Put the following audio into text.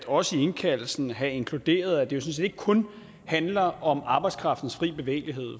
også i indkaldelsen kunne have inkluderet at det sådan set ikke kun handler om arbejdskraftens frie bevægelighed